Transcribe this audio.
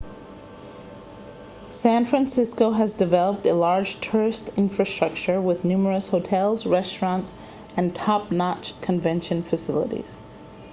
san francisco has developed a large tourist infrastructure with numerous hotels restaurants and top-notch convention facilities